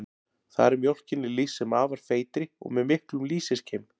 Þar er mjólkinni lýst sem afar feitri og með miklum lýsiskeim.